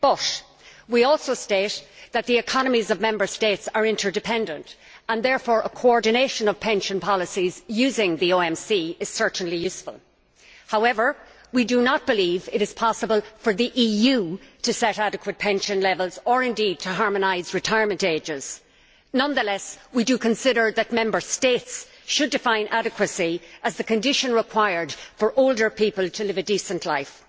But, we also state that the economies of Member States are interdependent and therefore, a coordination of pension policies using the OMC is certainly useful. However, we do not believe it is possible for the EU to set adequate pension levels or, indeed, to harmonise retirement ages. Nonetheless, we do consider that Member States should define adequacy as the condition required for older people to live a decent life.